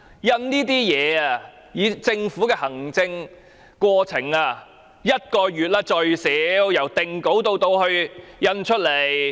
以政府的行政過程而言，這份宣傳品由定稿至印製最少需時1個月。